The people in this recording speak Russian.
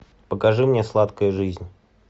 покажи мне сладкая жизнь